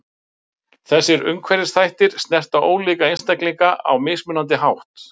Þessir umhverfisþættir snerta ólíka einstaklinga á mismunandi hátt.